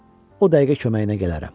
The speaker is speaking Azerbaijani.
O dəqiqə köməyinə gələrəm.